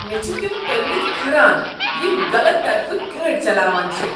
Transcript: مےٚ چھ تم پٔرِمٕتۍ كھران یم غلط طرفہٕ گٲڑۍ چلاوان چھِ۔